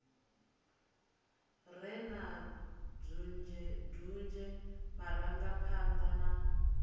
re na ndunzhendunzhe marangaphanḓa na